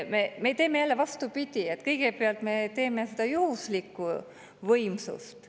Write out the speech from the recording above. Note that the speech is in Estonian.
Me teeme jälle vastupidi, et kõigepealt me teeme seda juhuslikku võimsust.